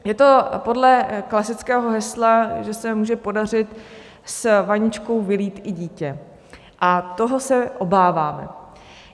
Je to podle klasického hesla, že se může podařit s vaničkou vylít i dítě, a toho se obáváme.